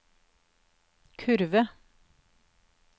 kurve